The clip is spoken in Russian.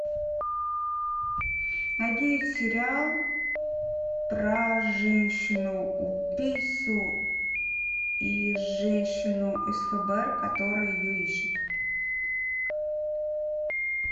найди сериал про женщину убийцу и женщину из фбр которая ее ищет